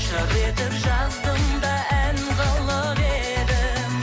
жыр етіп жаздым да ән қылып едім